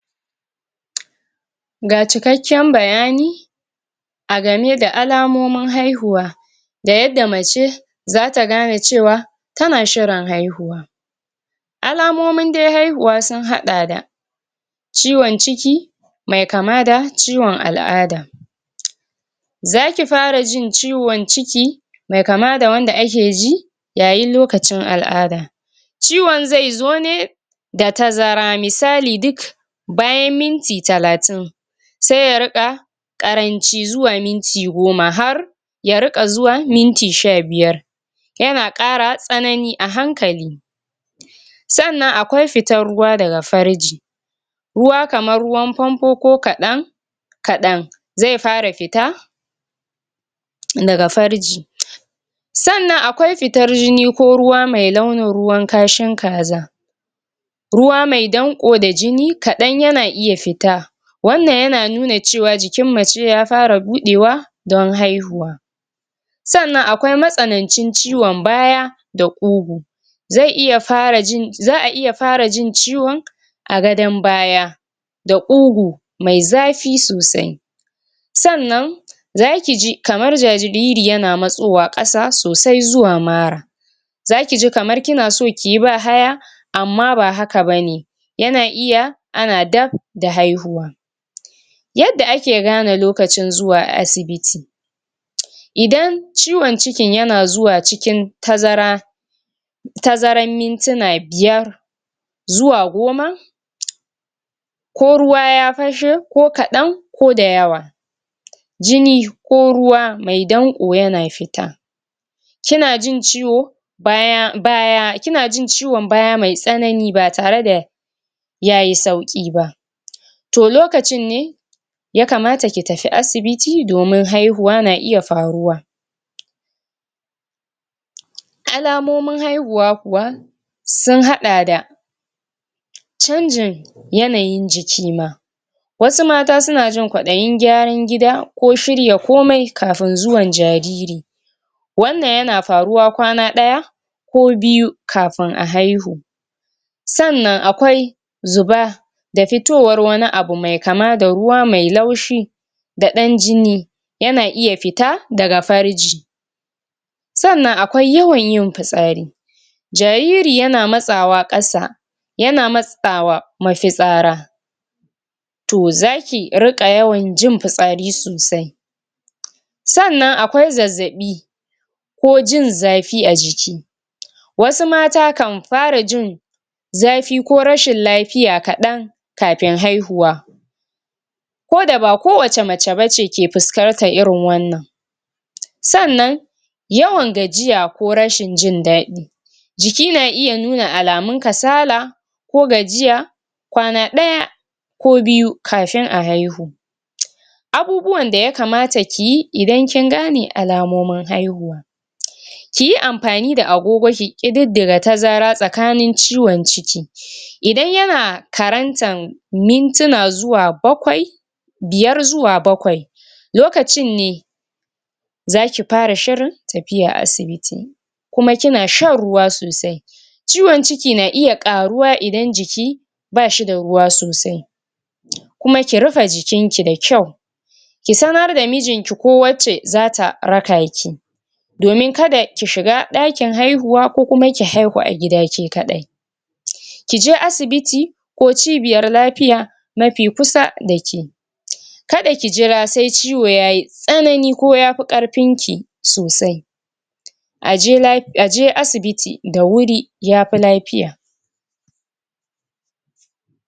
um Ga cikakken bayani a game da alamomin haihuwa da yadda mace zata gane cewa tana shirin haihuwa alamomin haihuwa dai sun hada da ciwon ciki me kama da ciwon al'ada um zaki fara jin ciwon ciki me kama da wanda ake ji ya yin lokacin al'ada ciwon zaizo ne da tazara, misali duk bayan minti talatin se ya rika karanci zuwa minti goma, har ya rika zuwa minti sha biyar yana kara tsanani a hankali sannan akwai fitan ruwa daga farji ruwa kaman ruwan fanfo ko kadan- kaɗan ze fara fita daga farji sannan akwai fitar jini ko ruwa mai launin ruwan kashin kaza ruwa mai ɗanko da jini kadan yana iya fita wannan yana nuna cewa jikin mace ya fara budewa don haihuwa sannan akwai matsanancin ciwon baya da kugu ze iya fara jin... za'a iya fara jin ciwon a gadon baya da kugu mai zafi sosai sannan zakiji kamar jariri yana matsowa kasa sosai zuwa mara zakiji kamar kinaso kiyi bahaya amma ba haka bane yana iya ana dab da haihuwa um yadda ake gane lokacin zuwa asibiti um idan ciwon cikin yana zuwa cikin tazara tazarar mintuna biyar zuwa goma uh ko ruwa ya fashe ko kadan ko da yawa um jini ko ruwa mai danko yana fita kinajin ciwon baya.. baya.. kinajin ciwon baya mai tsanani ba tare da yayi sauki ba um to lokacin ne ya kamata ki tafi asibiti domin haihuwa na iya faruwa um alamomin haihuwa kuwa sun hada da canjin yanayin jiki ma wasu mata sunajin kwaɗayin gyaran gida ko shirya komi kafin zuwan jariri wannan yana faruwa kwana ɗaya ko biyu kafin a haihu sannan akwai zuba da fitowan wani abu mai kama da ruwa mai laushi da ɗan jini yana iya fita daga farji sannan akwai yawan yin fitsari jariri yana matsawa ƙasa yana matsawa mafitsara to zaki rika yawan jin fitsari sosai um sannan akwai zazzabi ko jin zafi a jiki um wasu mata kan fara jin zafi ko rashin lafiya kaɗan kafin haihuwa koda ba ko wace mace bace ke fuskantar irin wannan um sannan yawan gajiya ko rashin jin daɗi jiki na iya nuna alamun kasala ko gajiya kwana ɗaya ko biyu kafin a haihu um abubuwan da ya kamata kiyi idan kin gane alamomin haihuwa um kiyi amfani da agogo ki kididdiga tazara tsakanin ciwon ciki um idan yana karantan mintuna zuwa bakwai biyar zuwa bakwai lokacin ne zaki fara shirin tafiya asibiti kuma kina shan ruwa sosai ciwon ciki na iya karuwa idan jiki bashi da ruwa sosai um kuma ki rufe jikinki da kyau ki sanar da mijinki ko wacce zata rakaki domin kada ki shiga dakin haihuwa ko kuma ki haihu a gida ke kadai um kice asibiti ko cibiyar lafiya mafi kusa dake um kada ki jira se ciwo yayi tsanani ko yafi karfinki sosai um aje laf.. aje asibiti da wuri yafi lafiya. pause